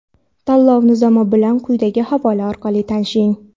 Tanlov Nizomi bilan quyidagi havola orqali tanishing!.